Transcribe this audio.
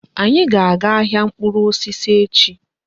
Anyi a ga-aga ahịa mkpụrụ osisi echi?